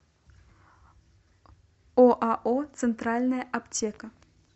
оао центральная аптека